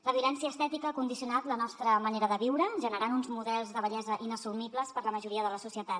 la violència estètica ha condicionat la nostra manera de viure generant uns models de bellesa inassumibles per a la majoria de la societat